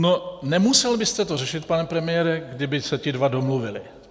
No, nemusel byste to řešit, pane premiére, kdyby se ti dva domluvili.